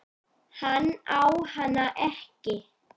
Hann á hana ekki.